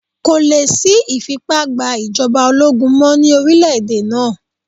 Kò lè sí ìfipá gba ìjọba ológun mọ́ ní orílẹ̀ èdè náà.